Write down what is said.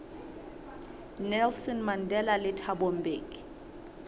nelson mandela le thabo mbeki